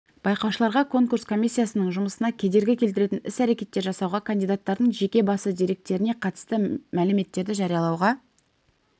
байқаушыларға конкурс комиссиясының жұмысына кедергі келтіретін іс-әрекеттер жасауға кандидаттардың жеке басы деректеріне қатысты мәліметтерді жариялауға